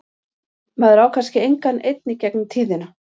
Maður á kannski engan einn í gegnum tíðina.